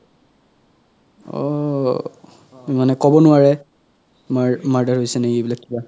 অ মানে কব নোৱাৰে মাৰ~ murder হৈছে নেকি এই বিলাক কিবা